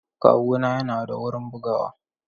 Kawuna yana da wurin bugawa.